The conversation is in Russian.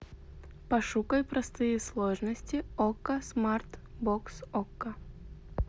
пошукай простые сложности окко смарт бокс окко